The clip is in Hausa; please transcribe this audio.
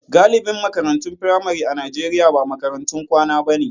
Galibin makarantun firamare a Najeriya ba makarantun kwana bane.